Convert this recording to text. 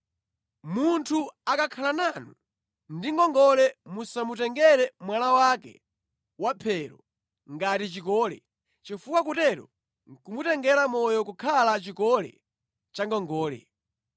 Munthu akakhala nanu ndi ngongole musamutengere mwala wake wa mphero ngati chikole, chifukwa kutero nʼkumutengera moyo kukhala chikole cha ngongole.